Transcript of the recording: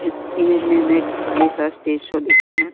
इस इमेज़ में हमें एक ख़ाली सा स्टेज शो दिख रहा है।